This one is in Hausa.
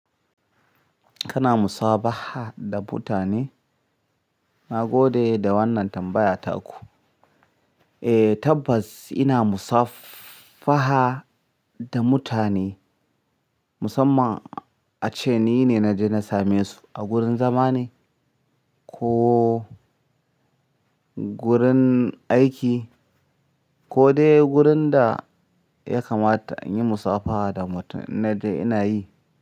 Kana musafaha da mutane? Na gode da wannan tambaya taku. Eh tabbas ina musafaha da mutane, musamman ace ni ne na je na same su a gurin zama ne ko gurin aiki ko dai gurin da ya kamata in yi musafaha da mutum in naje ina yi.